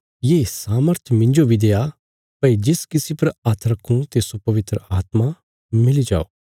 ये सामर्थ मिन्जो बी देआ भई जिस किसी पर हाथ रखूं तिस्सो पवित्र आत्मा मिली जाओ